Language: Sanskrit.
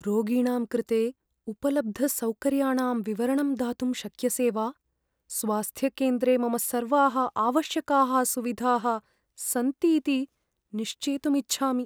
रोगिणां कृते उपलब्धसौकर्याणां विवरणं दातुं शक्यसे वा? स्वास्थ्यकेन्द्रे मम सर्वाः आवश्यकाः सुविधाः सन्तीति निश्चेतुम् इच्छामि।